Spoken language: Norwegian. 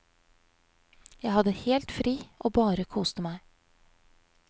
Jeg hadde helt fri og bare koste meg.